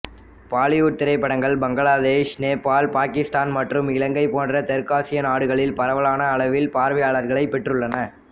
பாலிவுட் திரைப்படங்கள் பங்களாதேஷ் நேபால் பாகிஸ்தான் மற்றும் இலங்கை போன்ற தெற்காசியா நாடுகளில் பரவலான அளவில் பார்வையளர்களைப் பெற்றுளளன